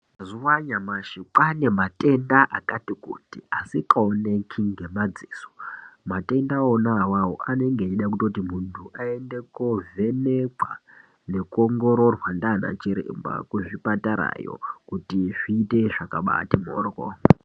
Mazuwa anyamashi kwaane matenda akati kuti asikaoneki ngemadziso matwnda ona awawo anenge eide kutoti muntu aende kovhenekwa nekuongororwa ndiana chiremba kuzvipatara yo kuti zviite zvakabati mhoryo.